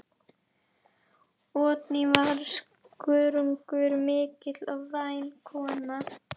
Oddný var skörungur mikill og væn kona.